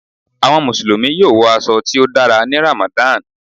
Awọn Musulumi yoo wọ aṣọ ti o dàrá ní Ramadan